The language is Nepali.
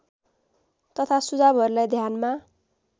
तथा सुझावहरूलाई ध्यानमा